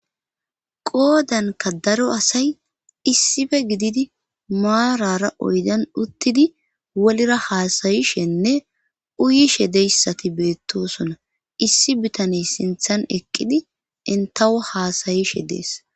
Qoodanka daro asay issife gididi maarara oydan uttidi wolira haasayishenne uyishe deyssati beettosona issi bitaney sinthan eqqidi entawo haasayishe dees.